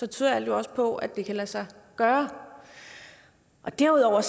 tyder alt jo også på at det kan lade sig gøre derudover er